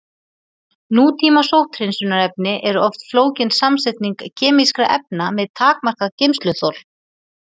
Nútíma sótthreinsunarefni eru oft flókin samsetning kemískra efna með takmarkað geymsluþol.